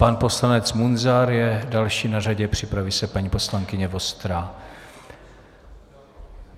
Pan poslanec Munzar je dalším na řadě, připraví se paní poslankyně Vostrá.